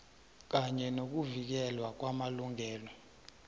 kanye nokuvikelwa kwamalungelo